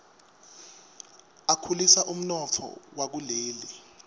akhulisa umnotfo wakuleli